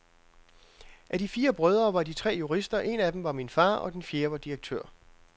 Af de fire brødre var de tre jurister, en af dem var min far, og den fjerde var direktør.